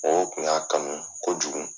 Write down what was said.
Mɔgɔw kun y'a kanu kojugu.